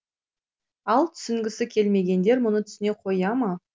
ал түсінгісі келмегендер мұны түсіне қоя ма